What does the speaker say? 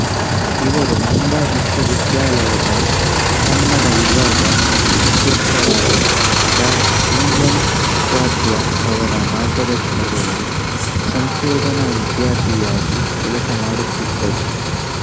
ಇವರು ಮುಂಬಯಿ ವಿಶ್ವವಿದ್ಯಾಲಯದ ಕನ್ನಡ ವಿಭಾಗ ಮುಖ್ಯಸ್ಥರಾದ ಡಾ ಜಿ ಎನ್ ಉಪಾಧ್ಯ ರವರ ಮಾರ್ಗದರ್ಶನದಲ್ಲಿ ಸಂಶೋಧನಾ ವಿದ್ಯಾರ್ಥಿಯಾಗಿ ಕೆಲಸಮಾಡುತಿದ್ದರು